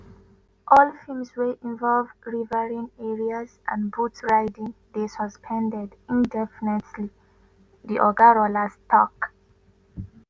“all films wey involve riverine areas and boat riding dey suspended indefinitely” di oga rollas tok.